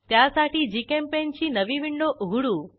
त्यासाठी जीचेम्पेंट ची नवी विंडो उघडू